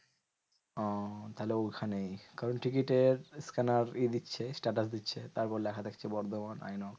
ওহ তাহলে ওখানেই কারণ টিকিটের scanner ইয়ে দিচ্ছে status দিচ্ছে তার উপর লেখা থাকছে বর্ধমান inox.